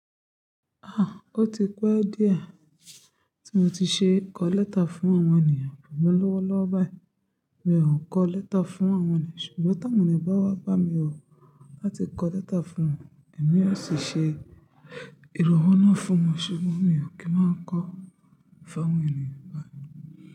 Ah! O ti pẹ́ díẹ̀ tí mo ti ṣe kọ lẹ́tà fún àwọn ènìyàn, àmọ́ lọ́wọ́lọ́wọ́ báyìí mi ò kọ lẹ́tà fún àwọn ènìyàn, ṣùgbọ́n tí àwọn ènìyàn bá wá bá mi wò láti kọ lẹ́tà fún wọn, èmi yóò sì ṣe ìròhọ́ náà fún wọn, ṣùgbọ́n mi ò kí máa ń kọ fún àwọn ènìyàn báyìí.